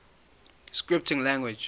scripting languages